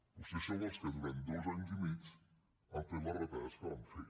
vostès són els que durant dos anys i mig han fet les retallades que van fer